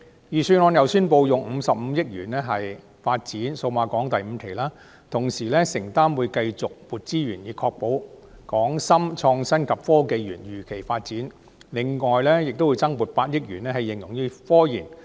預算案亦宣布用55億元發展數碼港第五期，並承諾會繼續增撥資源以確保港深創新及科技園如期發展，另會增撥8億元用於科研。